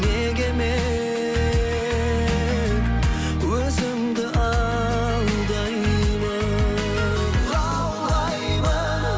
неге мен өзімді алдаймын лаулаймын